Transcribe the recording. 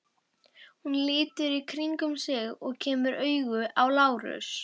Hún lítur í kringum sig og kemur auga á Lárus.